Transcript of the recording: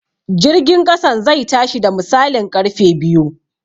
Jirgin ƙasan zai tashi da misalin ƙarfe biyu